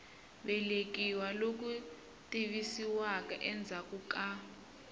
velekiwa loku tivisiwaka endzhaku ka